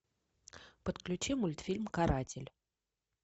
подключи мультфильм каратель